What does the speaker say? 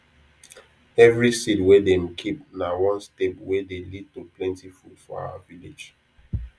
every seed wey dem keep na one step wey dey lead to plenti food for our village